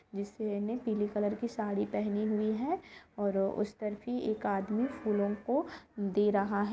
जिसने पिली कॉलर की साड़ी पहनी हुई है और उस तरफ ही एक आदमी फूलवर को दे रहा है।